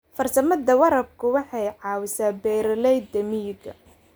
Farsamada waraabku waxay caawisaa beeralayda miyiga.